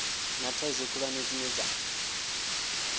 na thaidzo khulwane dzine dza